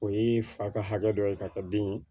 O ye fa ka hakɛ dɔ ye ka kɛ den ye